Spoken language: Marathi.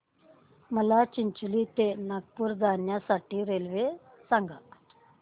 मला चिचोली ते नागपूर जाण्या साठी रेल्वे सांगा